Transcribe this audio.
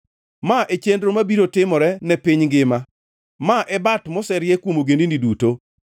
Ma e chenro mabiro timore ne piny ngima; ma e bat moserie kuom ogendini duto.